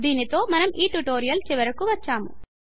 దీనితో మనము ఈ ట్యుటోరియల్ చివరికు వచ్చాము